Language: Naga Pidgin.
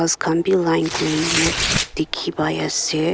Ghas khan bhi line kurinye dekhe pai ase.